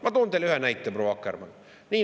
Ma toon teile ühe näite, proua Akkermann.